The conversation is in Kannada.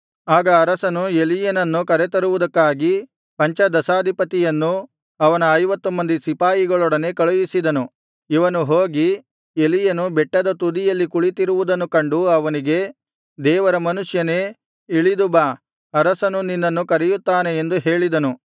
ಆಗ ಅರಸನು ಎಲೀಯನನ್ನು ಕರೆತರುವುದಕ್ಕಾಗಿ ಪಂಚದಶಾಧಿಪತಿಯನ್ನು ಅವನ ಐವತ್ತು ಮಂದಿ ಸಿಪಾಯಿಗಳೊಡನೆ ಕಳುಹಿಸಿದನು ಇವನು ಹೋಗಿ ಎಲೀಯನು ಬೆಟ್ಟದ ತುದಿಯಲ್ಲಿ ಕುಳಿತಿರುವುದನ್ನು ಕಂಡು ಅವನಿಗೆ ದೇವರ ಮನುಷ್ಯನೇ ಇಳಿದು ಬಾ ಅರಸನು ನಿನ್ನನ್ನು ಕರೆಯುತ್ತಾನೆ ಎಂದು ಹೇಳಿದನು